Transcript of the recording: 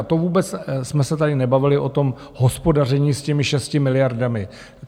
A to vůbec jsme se tady nebavili o tom hospodaření s těmi 6 miliardami.